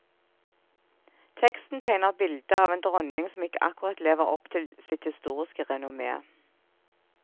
Teksten tegner bildet av en dronning som ikke akkurat lever opp til sitt historiske renommé.